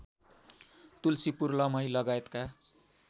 तुल्सीपुर लमही लगायतका